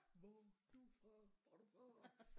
Hvor du fra hvor du fra